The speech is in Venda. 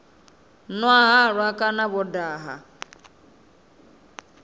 nwa halwa kana vho daha